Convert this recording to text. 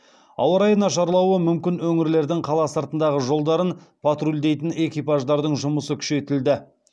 ауа райы нашарлауы мүмкін өңірлердің қала сыртындағы жолдарын патрульдейтін экипаждардың жұмысы күшейтілді